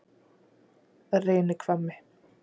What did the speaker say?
Reynihvammi